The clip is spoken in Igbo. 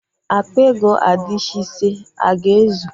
Akpa ego adishị ise a ga-ezu?